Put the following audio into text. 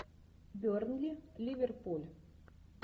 бернли ливерпуль